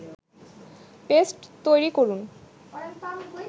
paste তৈরি করুন